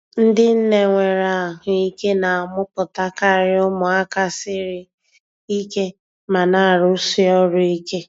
Ndị nne nwere ahụike na-amụpụtakari ụmụaka siri ike ma na-arụsi ọrụ ike.